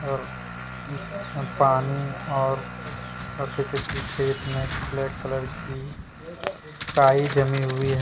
और पानी और लड़के के पीछे इतने ब्लैक कलर की काई जमी हुई है।